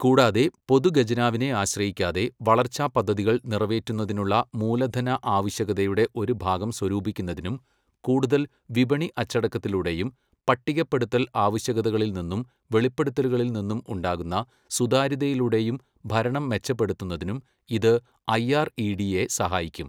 കൂടാതെ, പൊതു ഖജനാവിനെ ആശ്രയിക്കാതെ വളർച്ചാപദ്ധതികൾ നിറവേറ്റുന്നതിനുള്ള മൂലധന ആവശ്യകതയുടെ ഒരു ഭാഗം സ്വരൂപിക്കുന്നതിനും കൂടുതൽ വിപണി അച്ചടക്കത്തിലൂടെയും പട്ടികപ്പെടുത്തൽ ആവശ്യകതകളിൽ നിന്നും വെളിപ്പെടുത്തലുകളിൽ നിന്നും ഉണ്ടാകുന്ന സുതാര്യതയിലൂടെയും ഭരണം മെച്ചപ്പെടുത്തുന്നതിനും ഇത് ഐആർഇഡിഎ സഹായിക്കും.